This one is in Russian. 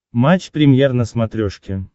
матч премьер на смотрешке